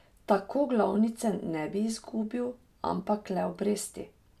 Tako glavnice ne bi izgubil, ampak le obresti.